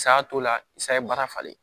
Saya t'o la i sa ye baara falen